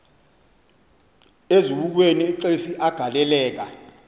eziukweni exesi agaleleka